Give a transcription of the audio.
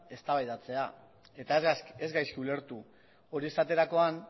eztabaidatzea eta ez gaizki ulertu hori esaterakoan